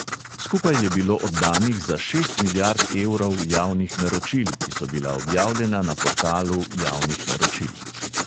Skupaj je bilo oddanih za šest milijard evrov javnih naročil, ki so bila objavljena na portalu javnih naročil.